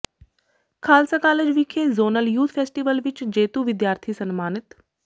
Khalsa college ਵਿਖੇ zonal youth festival ਵਿੱਚ ਜੇਤੂ ਵਿਦਿਆਰਥੀ ਸਨਮਾਨਿਤ